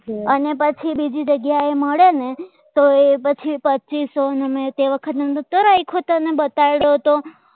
અને પછી બીજી જગ્યાએ મળે ને તો એ પછી પચિસ અને તે વખતની અંદર એક વખત તને બતાવી રહ્યો હતો